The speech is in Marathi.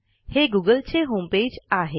हे गुगलचे होमपेज आहे